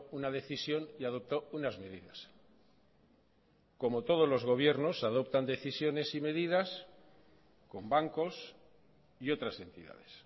una decisión y adoptó unas medidas como todos los gobiernos adoptan decisiones y medidas con bancos y otras entidades